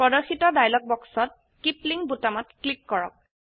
প্ৰদৰ্শিত ডায়লগ বক্সত keep link বোতামত ক্লিক কৰক